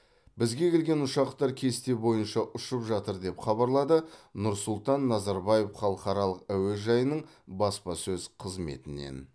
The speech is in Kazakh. бізге келген ұшақтар кесте бойынша ұшып жатыр деп хабарлады нұрсұлтан назарбаев халықаралық әуежайының баспасөз қызметінен